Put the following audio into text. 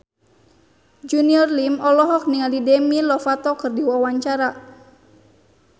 Junior Liem olohok ningali Demi Lovato keur diwawancara